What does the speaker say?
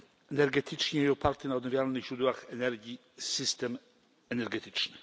energetycznie i oparty na odnawialnych źródłach energii system energetyczny.